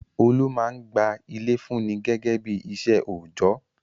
Olú máa ń gba ilé fúnni gẹ́gẹ́ bí iṣẹ́ òjọ́.